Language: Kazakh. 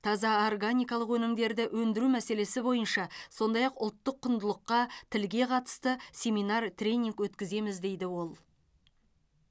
таза органикалық өнімдерді өндіру мәселесі бойынша сондай ақ ұлттық құндылыққа тілге қатысты семинар тренинг өткіземіз дейді ол